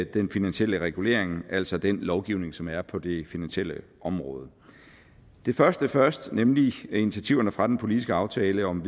den finansielle regulering altså den lovgivning som er på det finansielle område det første først nemlig initiativerne fra den politiske aftale om